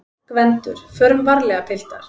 GVENDUR: Förum varlega, piltar!